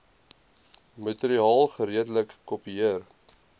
materiaal geredelik kopieer